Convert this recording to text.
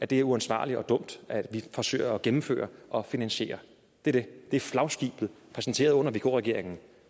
det er uansvarligt og dumt at vi forsøger at gennemføre og finansiere det det er flagskibet præsenteret under vk regeringen